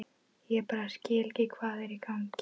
Ég bara skil ekki hvað er í gangi.